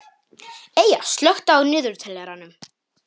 Eyja, slökktu á niðurteljaranum.